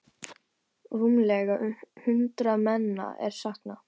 Rúmlega hundrað manna er saknað.